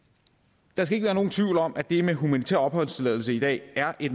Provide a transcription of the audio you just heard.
der skal ikke være nogen tvivl om at det med humanitær opholdstilladelse i dag er